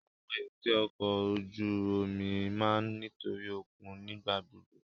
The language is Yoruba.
Awọn èbúté ọkọ ojú omi máa ǹ nitosi okun nigbagbogbo